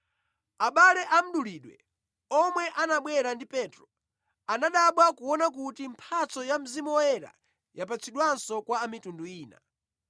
Abale a mdulidwe omwe anabwera ndi Petro anadabwa kuona kuti mphatso ya Mzimu Woyera yapatsidwanso kwa anthu a mitundu ina.